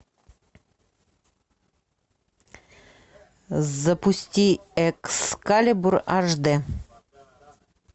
запусти экскалибур эйч ди